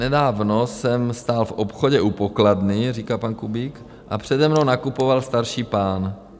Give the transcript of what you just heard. Nedávno jsem stál v obchodě u pokladny, říká pan Kubík, a přede mnou nakupoval starší pán.